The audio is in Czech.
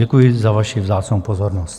Děkuji za vaši vzácnou pozornost.